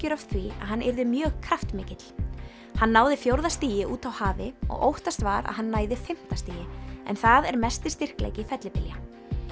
af því að hann yrði mjög kraftmikill hann náði fjórða stigi úti á hafi og óttast var að hann næði fimmta stigi en það er mesti styrkleiki fellibylja